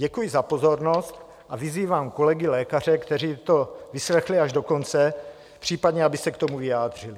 Děkuji za pozornost a vyzývám kolegy lékaře, kteří to vyslechli až do konce, případně aby se k tomu vyjádřili.